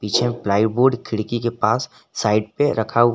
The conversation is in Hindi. प्लाईबोर्ड खिड़की के पास साइड पे रखा हुआ--